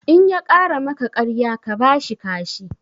In ya ƙara maka ƙarya ka bashi kashi